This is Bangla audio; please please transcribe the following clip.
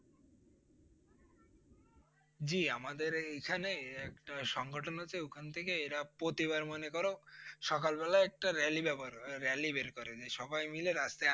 জি আমাদের এইখানে একটা সংগঠন আছে ওখান থেকে এরা প্রতিবার মনে করো সকাল বেলায় একটা rally ব্যাবহার হয়, rally বের করে যে সবাই মিলে রাস্তায়